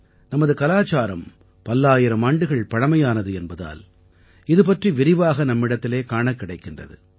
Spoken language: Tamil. நமது கலாச்சாரம் பல்லாயிரம் ஆண்டுகள் பழமையானது என்பதால் இது பற்றி விரிவாக நம்மிடத்திலே காணக் கிடைக்கின்றது